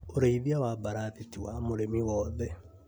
ũrĩithia wa mbarathi ti wa mũrĩmi wothe